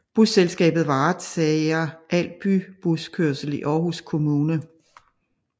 Busselskabet varetager al bybuskørsel i Aarhus Kommune